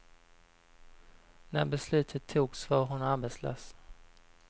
När beslutet togs var hon arbetslös.